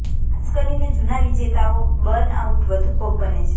ખાસ કરીને જૂના વિજેતાઓ બર્નઆઉટનો વધુ ભોગ બને છે